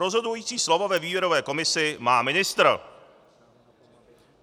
Rozhodující slovo ve výběrové komisi má ministr.